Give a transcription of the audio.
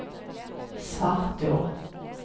Svartå